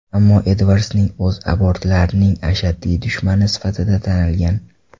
Ammo Edvardsning o‘zi abortlarning ashaddiy dushmani sifatida tanilgan.